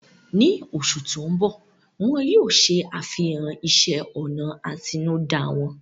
Ní oṣù tó ń bọ̀, wọ́n yóò ṣe àfihàn ìṣe ọnà àtinúdá wọn